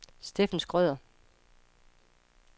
Steffen Schrøder